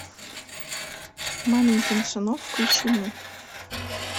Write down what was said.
маменькин сынок включи мне